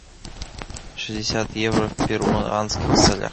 шестьдесят евро в перуанских солях